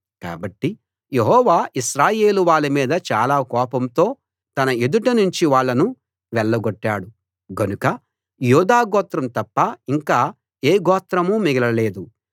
కాబట్టి యెహోవా ఇశ్రాయేలు వాళ్ళ మీద చాలా కోపంతో తన ఎదుట నుంచి వాళ్ళను వెళ్లగొట్టాడు గనుక యూదా గోత్రం తప్ప ఇంక ఏ గోత్రమూ మిగలలేదు